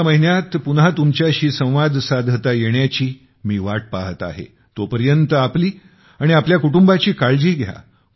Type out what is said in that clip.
पुढच्या महिन्यात पुन्हा तुमच्याशी संवाद साधता येण्याची मी वाट पाहत आहे तोपर्यंत आपली आणि आपल्या कुटुंबाची काळजी घ्या